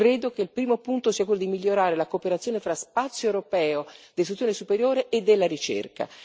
Credo che il primo punto sia quello di migliorare la cooperazione tra spazio europeo dell'istruzione superiore e della ricerca.